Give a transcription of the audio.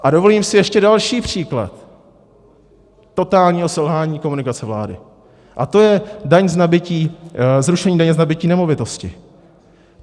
A dovolím si ještě další příklad totálního selhání komunikace vlády, a to je zrušení daně z nabytí nemovitosti.